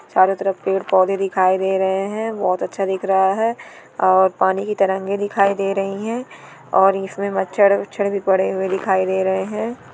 चारों तरफ पेड़ पौधे दिखाई दे रहे हैं बहुत अच्छा दिख रहा है और पानी की तरंगे दिखाई दे रही हैं और इसमें मच्छर उच्छर भी पड़े हुए दिखाई दे रहे हैं।